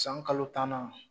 San kalo tan na.